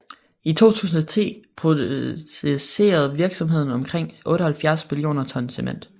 I 2010 producerede virksomheden omkring 78 millioner ton cement